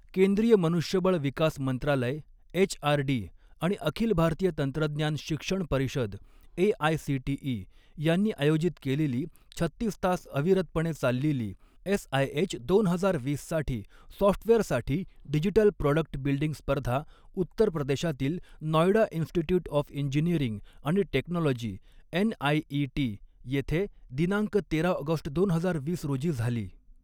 केंद्रीय मनुष्यबळ विकास मंत्रालय एचआरडी आणि अखिल भारतीय तंत्रज्ञान शिक्षण परिषद एआयसीटीई यांनी आयोजित केलेली छत्तीस तास अविरतपणे चाललेली एसआयएच दोन हजार वीस साठी सॉफ्टवेअर साठी डिजिटल प्रॉडक्ट बिल्डींग स्पर्धा उत्तर प्रदेशातील नॉयडा इंन्सिट्यूट ऑफ इंजिनिअरिंग आणि टेक्नॉंलॉजी एनआयईटी येथे दिनांक तेरा ऑगस्ट दोन हजार वीस रोजी झाली.